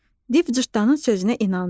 Div cırtdanın sözünə inandı.